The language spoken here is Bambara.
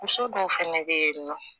Muso dɔw fɛnɛ be yen nɔ